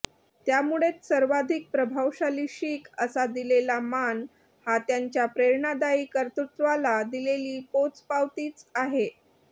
त्यामुळेच सर्वाधिक प्रभावशाली शीख असा दिलेला मान हा त्यांच्या प्रेरणादायी कर्तृत्वाला दिलेली पोचपावतीच आहे